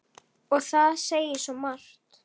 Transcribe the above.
Og það segir svo margt.